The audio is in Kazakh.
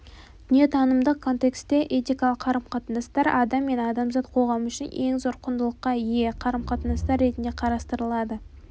дүниетанымдық контексте этикалық қарым-қатынастар адам мен адамзат қоғамы үшін ең зор құндылыққа ие қарым-қатынастар ретінде қарастырылады